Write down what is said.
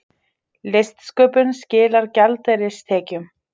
Listsköpun skilar gjaldeyristekjum